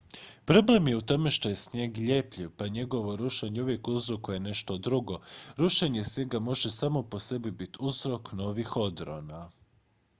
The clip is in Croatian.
problem je u tome što je snijeg ljepljiv pa njegovo rušenje uvijek uzrokuje nešto drugo rušenje snijega može samo po sebi biti uzrok novih odrona